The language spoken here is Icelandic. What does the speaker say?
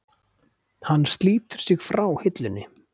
Hann slítur sig frá hillunni.